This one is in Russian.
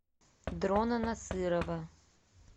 дрона насырова